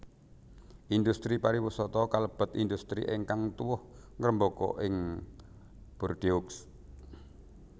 Indhustri pariwisata kalebet indhustri ingkang tuwuh ngrembaka ing Bordeaux